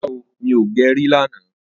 ràrá ọ mí ọ gé rí là nà.